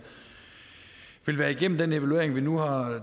være igennem den evaluering vi nu har